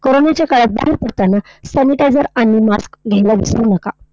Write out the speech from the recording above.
कोरोनाच्या काळात बाहेर पडताना sanitizer आणि mask घ्यायला विसरू नका.